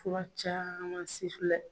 Kura caman si filɛ.